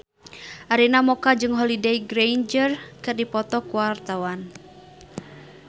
Arina Mocca jeung Holliday Grainger keur dipoto ku wartawan